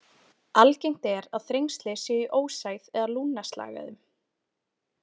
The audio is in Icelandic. Algengt er að þrengsli séu í ósæð eða lungnaslagæðum.